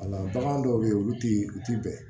Wala bagan dɔw bɛ yen olu tɛ u tɛ bɛn